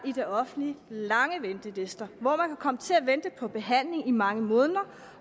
i det offentlige lange ventelister hvor man kan komme til at vente på behandling i mange måneder